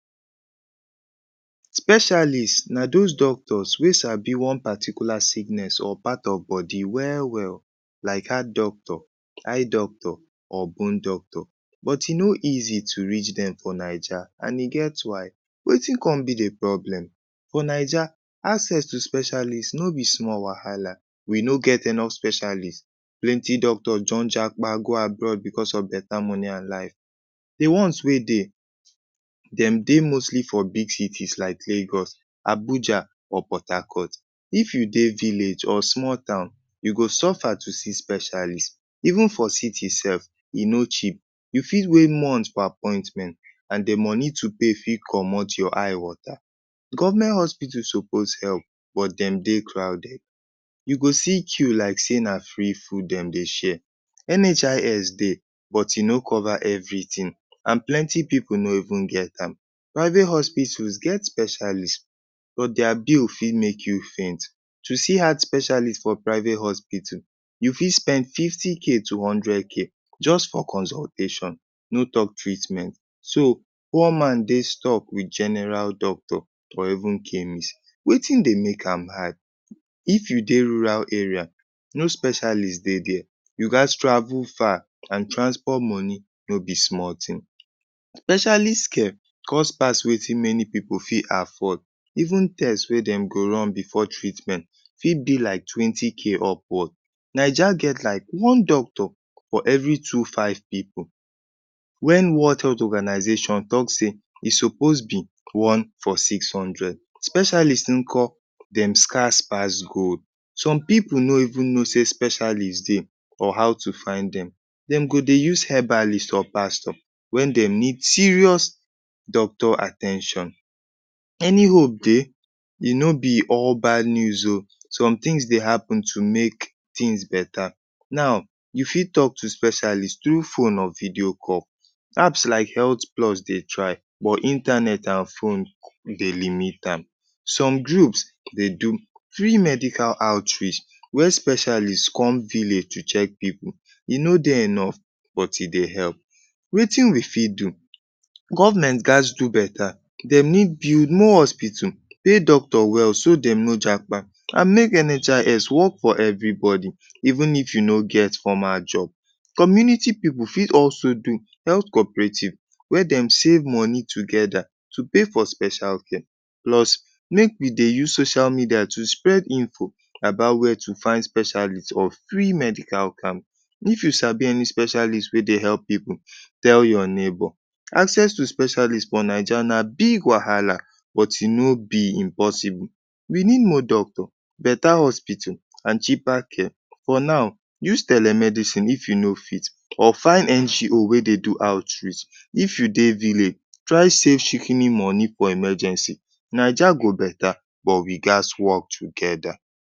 Specialist na those doctors wey sabi one particular sickness or part of body well-well. Like heart doctor, eye doctor or bone doctor. But e no easy to reach dem for Naija and e get why. Wetin come be de problem? For Naija, access to specialist no be small wahala. We no get enough specialist. Plenty doctors don japa go abroad because of better money and life. De ones wey dey, dem dey mostly for big cities like Lagos, Abuja or Port Harcourt. If you dey village or small town, you go suffer to see specialist. Even for city sef, e no cheap. You fit way months por appointment and de money to pay fit comot your eye water. Government hospital suppose help, but dem dey crowded. You go see queue like sey na free food dem dey share. NHIS dey, but e no cover everything and plenty pipu no even get am. Private hospitals get specialist, but dia bill fit make you faint. To see heart specialist for private hospital, you fit spend fifty K to hundred K just for consultation, no talk treatment. So, poor man dey stuck with general doctor or even chemist. Wetin dey make am high? If you dey rural area, no specialist dey there. You gats travel far and transport money no be small thing. Specialist care cost pass wetin many pipu fit afford. Even test wey dem go run before treatment fit be like twenty K upward. Naija get like one doctor for every two five pipu, when World Health Organization talk sey e suppose be one for six hundred. Specialist nko? Dem scarce pass gold. Some pipu no even know sey specialist dey or how to find dem. Dem go dey use herbalist or pastor when dem need serious doctor at ten tion. Any hope dey? E no be all bad news o! Somethings dey happen to make things better. Now, you fit talk to specialist through phone or video call. Apps like HealthPlus dey try, but internet and phone dey limit am. Some groups dey do free medical outreach where specialist come village to check pipu. E no dey enough, but e dey help. Wetin we fit do? Government gats do better. Dem need build more hospital, pay doctor well so dem no japa. And make NHIS work for everybody, even if you no get former job. Community pipu fit also do health cooperative wey dem save money together to pay for special care. Plus, make we dey use social media to spread info about where to find specialist or free medical camp. If you sabi any specialist wey dey help pipu, tell you neighbour. Access to specialist for Naija na big wahala, but e no be impossible. We need more doctor, better hospital and cheaper care. For now, use telemedicine if you no fit or find NGO wey dey do outreach. If you dey village, try save shikini moni for emergency. Naija go better, but we gats work together.